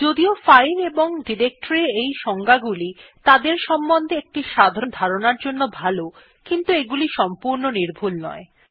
যদিও ফাইল এবং ডিরেক্টরীর এই সংজ্ঞাগুলি তাদের সম্বন্ধে একটি সাধারণ ধারণার জন্য ভাল কিন্তু এগুলি সংপূর্ণ নির্ভূল নয়